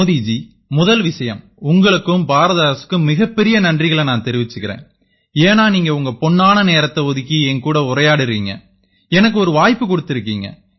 மோதி ஜி முதல் விஷயம் உங்களுக்கும் பாரத அரசுக்கும் மிகப்பெரிய நன்றிகளை நான் தெரிவிச்சுக்கறேன் ஏன்னா நீங்க உங்க பொன்னான நேரத்தை ஒதுக்கி என்னோட உரையாற்றறீங்க எனக்கு ஒரு வாய்ப்பு குடுத்திருக்கீங்க